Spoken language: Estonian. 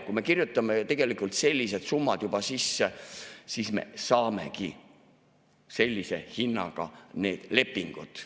Kui me kirjutame tegelikult sellised summad juba sisse, siis me saamegi sellise hinnaga need lepingud.